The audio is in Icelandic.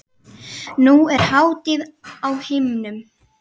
Nú er hátíð á himnum.